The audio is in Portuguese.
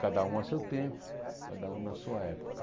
Cada um a seu tempo, cada um na sua época.